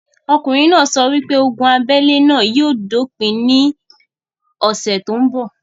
Okùnrin náà sọ wípé ogun abélé náà yóò dópin ní ọ̀sẹ̀ tó ń bọ̀